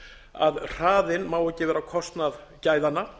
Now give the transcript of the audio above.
að hraðinn má ekki vera á kostnað gæðanna